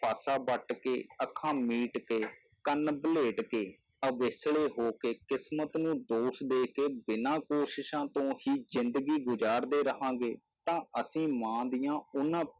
ਪਾਸਾ ਵੱਟ ਕੇ, ਅੱਖਾਂ ਮੀਟ ਕੇ, ਕੰਨ ਵਲੇਟ ਕੇ, ਉਵੇਸਲੇ ਹੋ ਕੇ ਕਿਸ਼ਮਤ ਨੂੰ ਦੋਸ਼ ਦੇ ਕੇ ਬਿਨਾਂ ਕੋਸ਼ਿਸ਼ਾਂ ਤੋਂ ਹੀ ਜ਼ਿੰਦਗੀ ਗੁਜ਼ਾਰਦੇ ਰਹਾਂਗੇ, ਤਾਂ ਅਸੀਂ ਮਾਂ ਦੀਆਂ ਉਹਨਾਂ